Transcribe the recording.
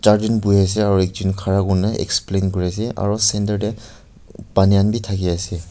char jon bohiase aru ek jon khara hoikini explain korise aru centre teh pani khan bhi thaki ase.